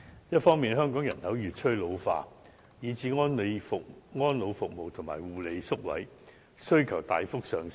一方面，香港人口越趨老化，以致安老服務及護理宿位需求大幅上升。